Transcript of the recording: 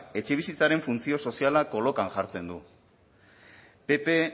etxebizitzaren funtzio soziala kolokan jartzen du ppk